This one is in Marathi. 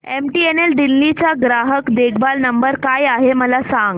एमटीएनएल दिल्ली चा ग्राहक देखभाल नंबर काय आहे मला सांग